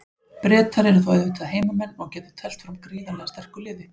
Bretar eru þá auðvitað heimamenn og geta teflt fram gríðarlega sterku liði.